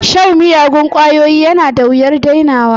Shan miyagun ƙwayoyi yana da wuyar dainawa